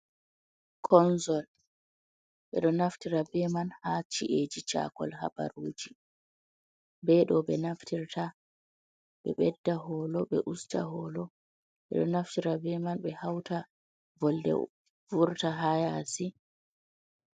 Konzol ɓeɗo naftira be man ha ci’eji chakol habaruji, be ɗo ɓe naftirta ɓe ɓedda holo ɓe usta holo, ɓeɗo naftira be man ɓe hauta volde vurta ha yasi.